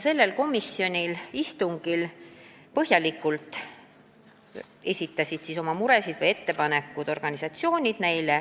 Sellel komisjoni istungil esitasid põhjalikult oma muresid või ettepanekuid organisatsioonid.